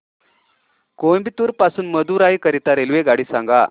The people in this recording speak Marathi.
कोइंबतूर पासून मदुराई करीता रेल्वेगाडी सांगा